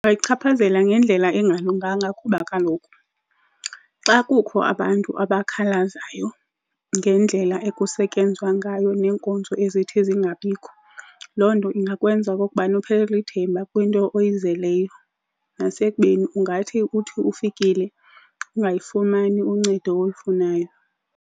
chaphazela ngendlela engalunganga kuba kaloku xa kukho abantu abakhalazayo ngendlela ekusetyenzwa ngayo neenkonzo ezithi zingabikho, loo nto ingakwenza okokubana uphelelwe lithemba kwinto oyizeleyo nasekubeni ungathi uthi ufikile ungayifumani uncedo olufunayo.